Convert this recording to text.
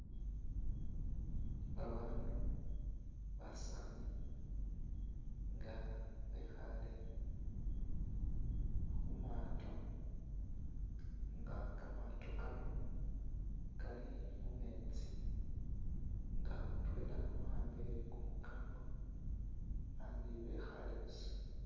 Babandu basani nga bekhale khumato nga kamato Kano Kali khumetsi nga mutwela wa'ambile kumukango abandi bekhale buusa